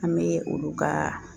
An bɛ olu ka